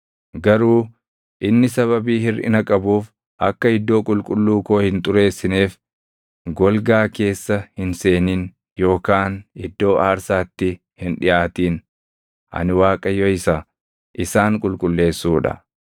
Garuu inni sababii hirʼina qabuuf akka iddoo qulqulluu koo hin xureessineef golgaa keessa hin seenin yookaan iddoo aarsaatti hin dhiʼaatin. Ani Waaqayyo isa isaan qulqulleessuu dha.’ ”